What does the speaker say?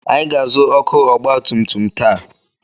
Anyị ga-azụ ọkụ ọgbatumtum taa.